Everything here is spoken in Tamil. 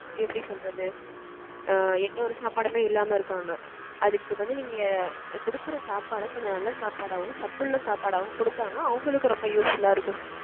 எப்படி சொல்றது. எந்த ஒரு சாப்பாடுமே இல்லாம இருக்காங்க. அதுக்கு வந்து நீங்க கொடுக்கற சாப்பாட கொஞ்சம் நல்ல சாப்பாடாவும் சத்துள்ள சாப்பாடாவும் கொடுத்தோம்னா அவங்களுக்கும் ரொம்ப usefull லா இருக்கும் sir.